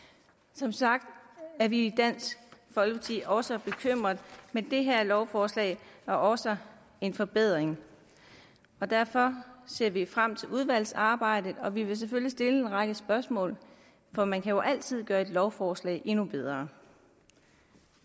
som sagt er vi i dansk folkeparti også bekymrede men det her lovforslag er også en forbedring derfor ser vi frem til udvalgsarbejdet og vi vil selvfølgelig stille en række spørgsmål for man kan jo altid gøre et lovforslag endnu bedre